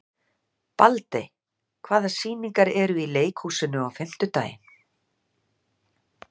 Baldey, hvaða sýningar eru í leikhúsinu á fimmtudaginn?